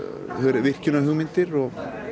virkjunarhugmyndir og